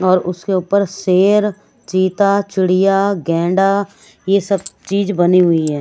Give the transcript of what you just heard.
और उसके ऊपर शेर चीता चिड़िया गेंडा ये सब चीज़ बनी हुई हैं।